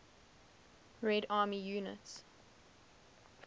red army units